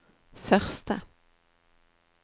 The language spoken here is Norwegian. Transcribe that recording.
første